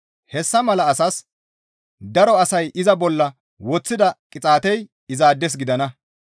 Hessa mala asas daro asay iza bolla woththida qixaatey izaades gidana.